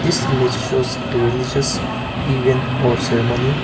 this image shows a religious even or ceremony.